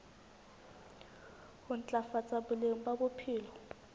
ho ntlafatsa boleng ba bophelo